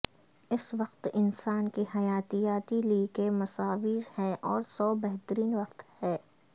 اس وقت انسان کی حیاتیاتی لی کے مساوی ہے اور سو بہترین وقت ہے